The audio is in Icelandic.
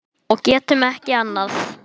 Og getum ekki annað.